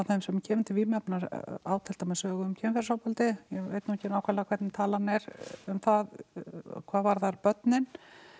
þeim sem kemur til vímuefna á til dæmis sögu um kynferðisofbeldi ég veit nú ekki nákvæmlega hvernig talan er um það hvað varðar börnin